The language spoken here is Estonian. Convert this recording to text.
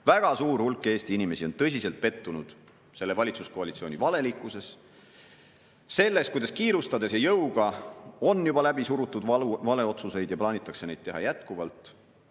Väga suur hulk Eesti inimesi on tõsiselt pettunud selle valitsuskoalitsiooni valelikkuses, selles, kuidas kiirustades ja jõuga on juba läbi surutud valesid otsuseid ja plaanitakse neid teha jätkuvalt.